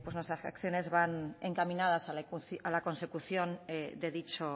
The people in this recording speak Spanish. nuestras acciones van encaminadas a la consecución de dicho